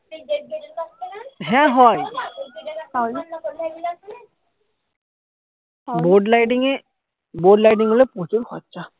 হ্যা হয় board lighting এ board lighting হলে প্রচুর খরচা